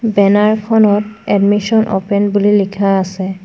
Banner খনত admission open বুলি লিখা আছে।